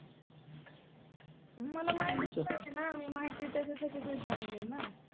की जस की नवीन गाडी घेतली तर लोक काय करतात की लिंबू त्या टायर खाली ठेवतात हे ते